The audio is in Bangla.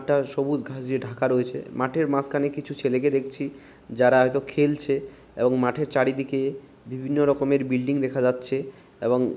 একটা সবুজ ঘাস দিয়ে ঢাকা রয়েছে মাঠের মাঝখানে কিছু ছেলেকে দেখছি যারা হয়তো খেলছে এবং মাঠের চারিদিকে বিভিন্ন রকম বিল্ডিং দেখা যাচ্ছে এবং।